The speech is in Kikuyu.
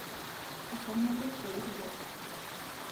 Baba nĩendete irio